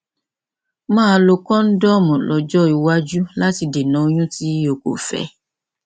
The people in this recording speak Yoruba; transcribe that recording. máa lo kóńdọọmù lọjọ iwájú láti dènà oyún tí o kò fẹ